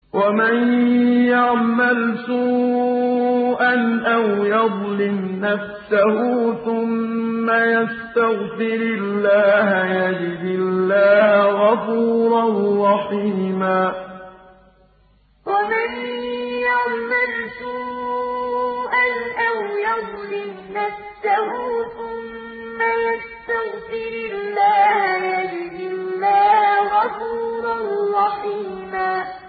وَمَن يَعْمَلْ سُوءًا أَوْ يَظْلِمْ نَفْسَهُ ثُمَّ يَسْتَغْفِرِ اللَّهَ يَجِدِ اللَّهَ غَفُورًا رَّحِيمًا وَمَن يَعْمَلْ سُوءًا أَوْ يَظْلِمْ نَفْسَهُ ثُمَّ يَسْتَغْفِرِ اللَّهَ يَجِدِ اللَّهَ غَفُورًا رَّحِيمًا